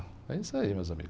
É isso aí, meus amigos.